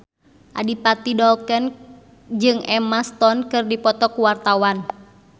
Adipati Dolken jeung Emma Stone keur dipoto ku wartawan